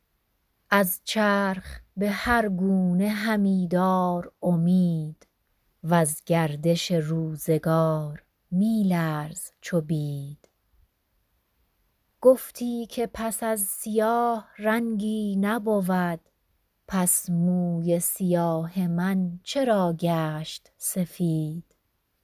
از چرخ به هر گونه همی دار امید وز گردش روزگار می لرز چو بید گفتی که پس از سیاه رنگی نبود پس موی سیاه من چرا گشت سفید